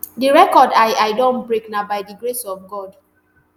di record i i don break na by di grace of god